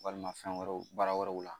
Walima fɛn wɛrɛw baara wɛrɛw la